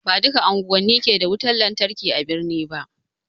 Ba duka unguwani ke da wutan lantarki a birni ba